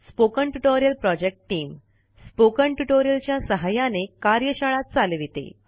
spoken tutorial project team spoken tutorial च्या सहाय्याने कार्यशाळा चालविते